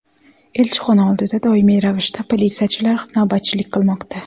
Elchixona oldida doimiy ravishda politsiyachilar navbatchilik qilmoqda.